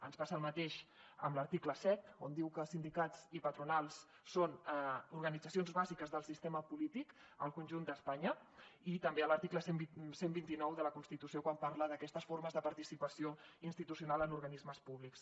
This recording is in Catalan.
ens passa el mateix a l’article siete on diu que sindicats i patronals són organitzacions bàsiques del sistema polític al conjunt d’espanya i també a l’article cien y veinte nueve de la constitució quan parla d’aquestes formes de participació institucio nal en organismes públics